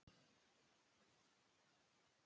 Þú stendur þig vel, Sandel!